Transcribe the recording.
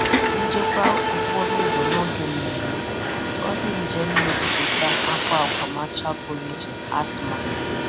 Njikwa okporo ụzọ n'oge mmemme, ozi njem na-ebupụta akwa akwa marshal pụrụ iche ATMA.